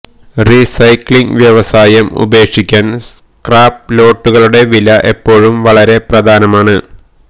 recycling വ്യവസായം ഉപേക്ഷിക്കാൻ scrap ലോട്ടുകളുടെ വില എപ്പോഴും വളരെ പ്രധാനമാണ്